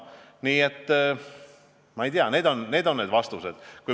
Nii et need on need vastused.